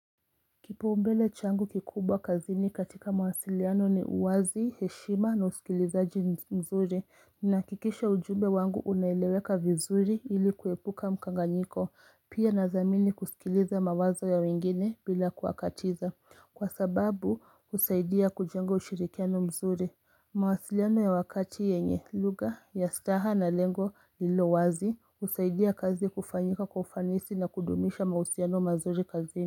Kipaombele changu kikubwa kazini katika mawasiliano ni uwazi, heshima na usikilizaji mzuri Ninahakikisha ujumbe wangu unaeleweka vizuri ili kuepuka mkanganyiko Pia nathamini kusikiliza mawazo ya wengine bila kuwakatiza Kwa sababu husaidia kujenga ushirikiano mzuri mawasiliano ya wakati yenye lugha, ya staha na lengo lililowazi husaidia kazi kufanyika kwa ufanisi na kudumisha mahusiano mazuri kazini.